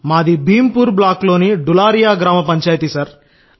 మాది భీంపూర్ బ్లాక్ లోని డులారియా గ్రామ పంచాయతీ సార్